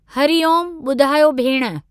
हरी ओम, ॿुधायो भेण।